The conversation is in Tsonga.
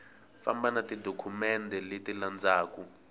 famba na tidokumende leti landzaku